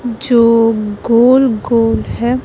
जो गोल गोल है।